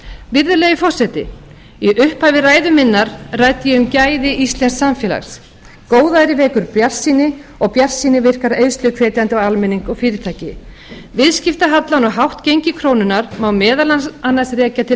virðulegi forseti í upphafi ræðu minnar ræddi ég um gæði íslensks samfélags góðæri vekur bjartsýni og bjartsýni virkar eyðsluhvetjandi á almenning og fyrirtæki viðskiptahallann og hátt gengi krónunnar má meðal annars rekja til